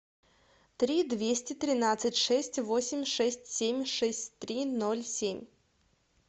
три двести тринадцать шесть восемь шесть семь шесть три ноль семь